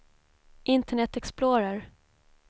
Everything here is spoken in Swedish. internet explorer